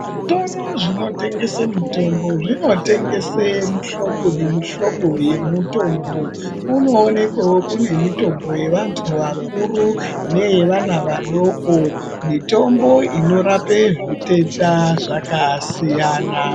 Zvitoro zvinotengesa mitombo zvinotengesa mihlobo nemihlobo yemutombo. Kunoonekwawo kune mutombo yevantu vakuru neye vana vadoko mitombo inorapa zvitenda zvakasiyana.